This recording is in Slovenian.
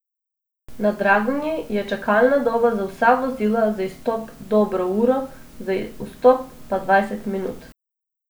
Na Dragonji je čakalna doba za vsa vozila za izstop dobro uro, za vstop pa dvajset minut.